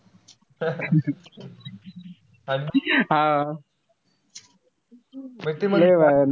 हा. लय भारी.